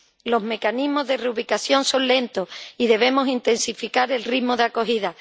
Los mecanismos de reubicación son lentos, y debemos intensificar el ritmo de acogida.